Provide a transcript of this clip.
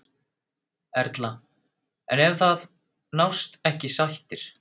Erla: En ef að það nást ekki sættir?